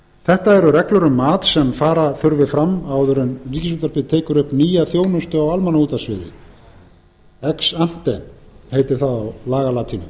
þetta eru reglur um mat sem fara þurfi fram áður en ríkisútvarpið tekur upp nýja þjónustu á almannaútvarpssviði eksampe heitir það á lagalatínu